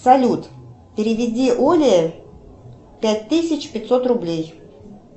салют переведи оле пять тысяч пятьсот рублей